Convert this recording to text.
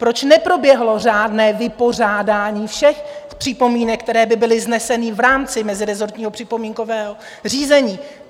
Proč neproběhlo řádné vypořádání všech připomínek, které by byly vznesené v rámci mezirezortního připomínkového řízení?